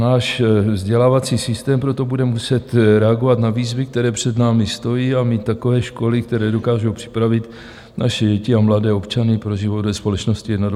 Náš vzdělávací systém proto bude muset reagovat na výzvy, které před námi stojí, a mít takové školy, které dokážou připravit naše děti a mladé občany pro život ve společnosti 21. století."